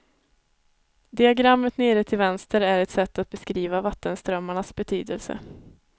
Diagrammet nere till vänster är ett sätt att beskriva vattenströmmarnas betydelse.